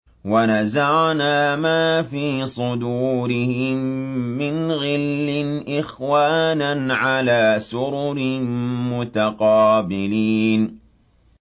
وَنَزَعْنَا مَا فِي صُدُورِهِم مِّنْ غِلٍّ إِخْوَانًا عَلَىٰ سُرُرٍ مُّتَقَابِلِينَ